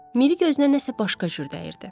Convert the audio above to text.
Miri gözünə nəsə başqa cür dəyirdi.